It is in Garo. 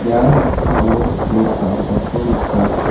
ia noksao nok dakgipako nika.